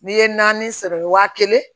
N'i ye naani sɔrɔ wa kelen